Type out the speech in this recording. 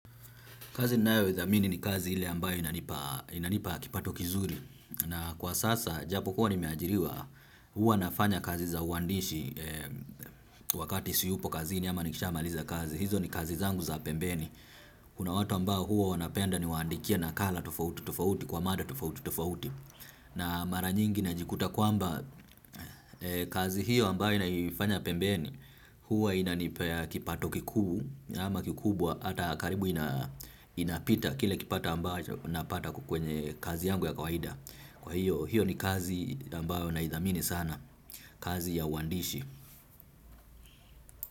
Kazi nayo idhamini ni kazi ile ambayo inanipa kipato kizuri. Na kwa sasa, japo kuwa nimeajiriwa, huwa nafanya kazi za uwandishi wakati si yupo kazini ama nikishamaliza kazi. Hizo ni kazi zangu za pembeni. Kuna watu ambao huwa wanapenda ni waandikie na kala tofauti tofauti kwa mada tofauti tofauti. Na mara nyingi na jikuta kwamba kazi hiyo ambayo nayoifanya pembeni, huwa inanipa kipato kikuu na ama kikubwa ata karibu inapita kile kipata ambacho napata kwenye kazi yangu ya kawaida. Kwa hiyo hiyo ni kazi ambayo na idhamini sana. Kazi ya uandishi.